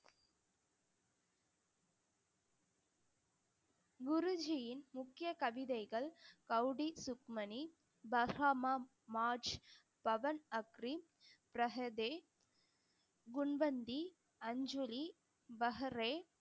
குருஜியின் முக்கிய கவிதைகள் கௌடி சுக்மணி, பகாமா மார்ச், பவன் அஃரீன், பிரகதே, குன்வந்தி, அஞ்சூரி, பஹரே